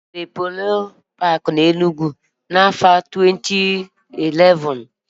E mepere Enugwu Polo paki n'afọ 2011